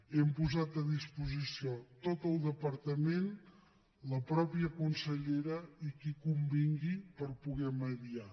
hem posat a disposició tot el departament la mateixa consellera i qui convingui per poder mediar